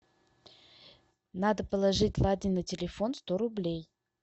надо положить ладе на телефон сто рублей